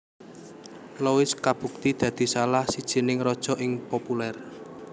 Louis kabukti dadi salah sijining raja sing populer